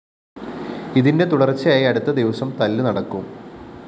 ഇതിന്റെ തുടര്‍ച്ചയായി അടുത്ത ദിവസം തല്ലു നടക്കും